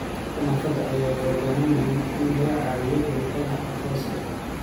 Dadka naafada ah waxay u baahan yihiin in laga caawiyo helitaanka aqoonsiga.